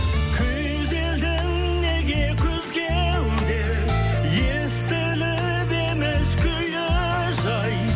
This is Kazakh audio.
күйзелдің неге күз кеуде естіліп еміс күйі жай